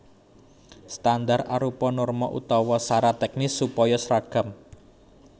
Standar arupa norma utawa sarat tèknis supaya sragam